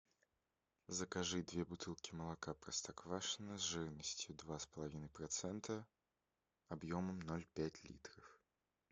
закажи две бутылки молока простоквашино с жирностью два с половиной процента объемом ноль пять литров